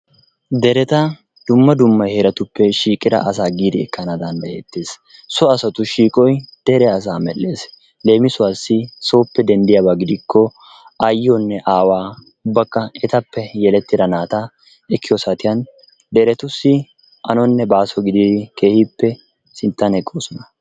dereta dumma dumma heeratuppe shiiqida asaa giidi ekkana danddayettees. so asatu shiiqoy dere asaa medhdhees. leemisuwaassi sooppe denddiyaaba gidikko ayyiyoonne aawaa ubbakka etappe yelettida naata ekkiyoo saatiyan deretussi anonne baaso gididi keehippe sinttan eqqoosona.